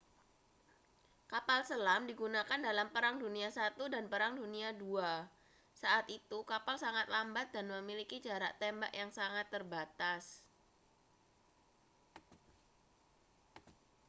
kapal selam digunakan dalam perang dunia i dan perang dunia ii saat itu kapal sangat lambat dan memiliki jarak tembak yang sangat terbatas